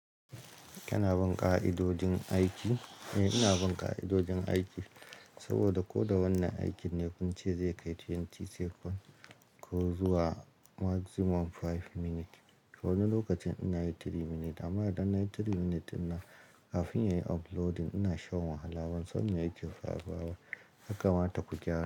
Kina bin ka'idojin aiki? Eh ina bin ka'idojin aiki, saboda ko da wane aiki ne kun ce zai kai twenty second ko zuwa maximum five minutes. Wani lokacin ina yi three minutes amma idan na yi three minutes dinna, kafin ya yi uploading ina shan wahala, ban san me ya ke faruwa ba yaka mata ku gyara.